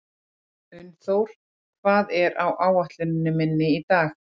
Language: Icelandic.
Unnþór, hvað er á áætluninni minni í dag?